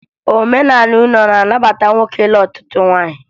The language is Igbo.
Omenala unu a na-abata nwoke ịnụ ọtụtụ nwaanyị